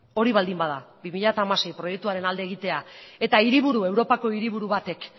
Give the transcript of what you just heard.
hori baldin bada bi mila hamasei proiektuaren alde egitea eta europako hiriburu batek